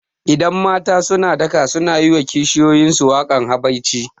Idan mata suna daka sunayi wa kishiyuyin su wakan habaici